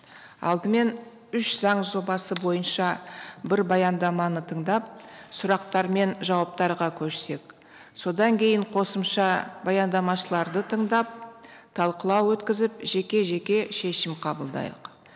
алдымен үш заң жобасы бойынша бір баяндаманы тыңдап сұрақтар мен жауаптарға көшсек содан кейін қосымша баяндамашыларды тыңдап талқылау өткізіп жеке жеке шешім қабылдайық